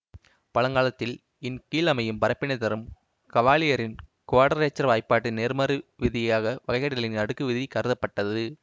பழங்காலத்தில் இன் கீழ் அமையும் பரப்பினைத் தரும் கவாலியரின் குவாடரேச்சர் வாய்ப்பாட்டின் நேர்மாறு விதியாக வகையிடலின் அடுக்கு விதி கருதப்பட்டது